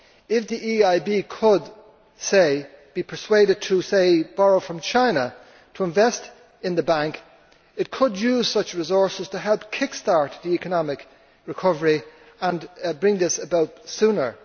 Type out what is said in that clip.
War. If the EIB could be persuaded to, say, borrow from China to invest in the Bank, it could use such resources to help kick start the economic recovery and bring this about sooner.